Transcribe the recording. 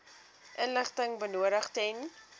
inligting benodig ten